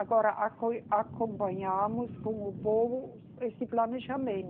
Agora acoi, companhamos com o povo esse planejamento.